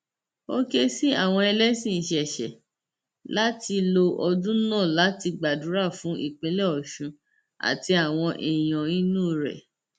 ó ké sí àwọn ẹlẹsìn ìṣẹṣẹ láti lo ọdún náà láti gbàdúrà fún ìpínlẹ ọṣun àti àwọn èèyàn inú rẹ